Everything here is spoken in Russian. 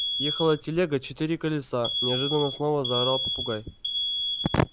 ехала телега четыре колеса неожиданно снова заорал попугай